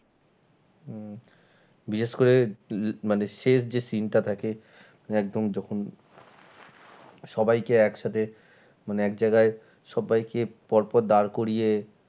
হম বিশেষ করে মানে শেষ যে scene টা থাকে মানে একদম যখন সবাইকে এক সাথে মানে এক জায়গায় সব্বাইকে পর পর দাঁড় করিয়ে